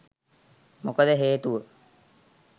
මොකද හේතුව